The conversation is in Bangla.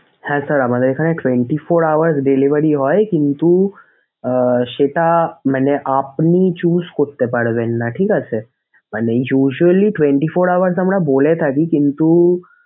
হ্যাঁ sir আমাদের এখানে twenty four hour delivery হয় কিন্তু আহ সেটা মানে আপনি choose করতে পারবেন না ঠিক আছে মানে usually twenty four hour তো আমরা বলে থাকি কিন্তু